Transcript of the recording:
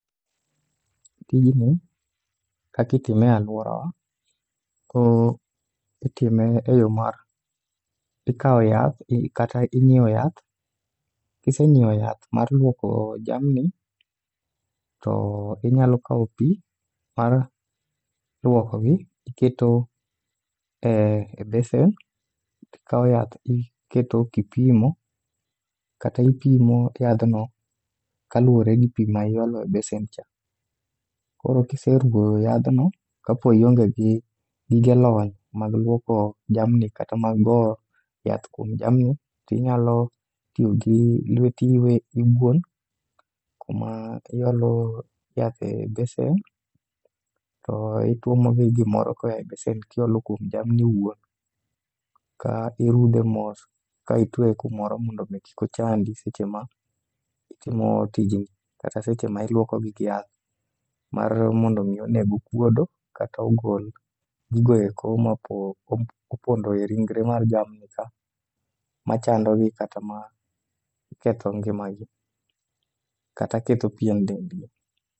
Tijni kakitime e alworawa, o itime e yo mar: ikawo yath kata ing'iewo yath, kisenyiewo yath mar lwoko jamni to inyalo kawo pi mar lwokogi tiketo e besen. Tikawo yath tiketo kipimo kata ipimo yadhno kaluwore gi pi ma iolo e besen cha. Koro kiseruwo yadhno, kapo ionge gi gige lony mag lwoko jamni kata mag go yath kuom jamni. Tinyalo tiyo gi lweti iwuon, kuma iolo yath e besen to itwomo gi gimoro koya e besen kiolo kuom jamni wuon. Ka irudhe mos ka itweye kumoro mondo kik ochandi seche ma itimo tijni, kata seche ma iluokogi gi yath. Mar mondo mi oneg okuodo kata ogol gigoeko ma po opondo e ringre mar jamni ka, machandogi kata ma ketho ngimagi kata ketho pein dend gi.